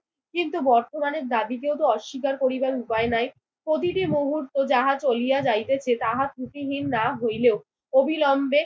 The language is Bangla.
কিন্তু বর্তমানে দাবি যেহেতু অস্বীকার করিবার উপায় নাই প্রতিটি মুহূর্ত যাহা চলিয়া যাইতেছে তাহা ত্রুটিহীন না হইলেও অবিলম্বে